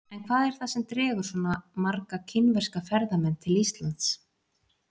En hvað er það sem dregur svona marga kínverska ferðamenn til Íslands?